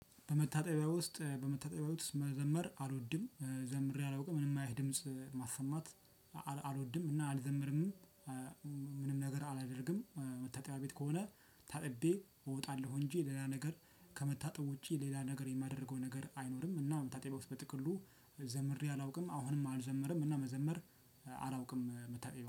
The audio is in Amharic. በመታጠብያ ውስጥ በመታጠብያ ውስጥ መዘመር አልወድም ዘምሬ አላውቅም። ምንም አይነት ድምጽ ማሰማት አልወድም እና አልዘምርምም ምንም ነገር አላደርግም። መታጠቢያ ቤት ከሆነ ታጥቤ እወጣለሁ፤ እንጂ ሌላ ነገር ከመታጠብ ውጪ ሌላ ነገር የማደርገው ነገር አይኖርም። እና መታጠቢያ ውስጥ በጥቅሉ ዘምሬ አላውቅም። አሁንም አልዘምርም እና መዘመር አላውቅም መታጠብያ ቤት።